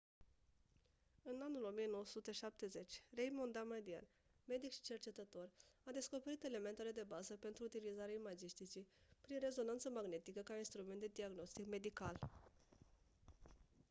în anul 1970 raymond damadian medic și cercetător a descoperit elementele de bază pentru utilizarea imagisticii prin rezonanță magnetică ca instrument de diagnostic medical